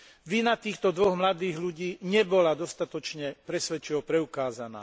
Vina týchto dvoch mladých ľudí nebola dostatočne presvedčivo preukázaná.